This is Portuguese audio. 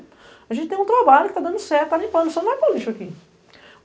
A gente tem um trabalho que tá dando certo, tá limpando, você não vai colocar lixo aqui.